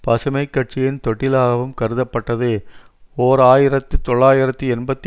பசுமை கட்சியின் தொட்டிலாகவும் கருதப்பட்டது ஓர் ஆயிரத்து தொள்ளாயிரத்தி எண்பத்தி